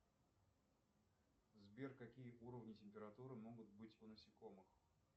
сбер какие уровни температуры могут быть у насекомых